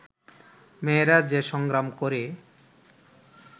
মেয়েরা যে সংগ্রাম করে